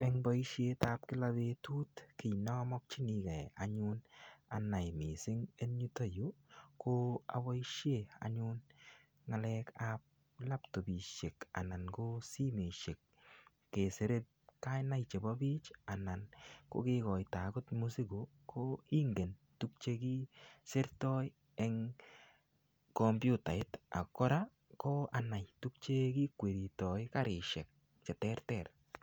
Eng' boishetab kila betut kii namokchinigei anyun anai mising' eng' yutoyu ko aboishe anyun ng'alekab laptopishek anan ko simeshek kesirei kainaik chebo biich anan ko kekoito agot mosiko ko ingen tukchekisertoi eng' komputait ak kora ko anai tukche kikweritoi karishek cheterter